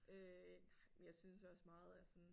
Øh nej men jeg synes også meget er sådan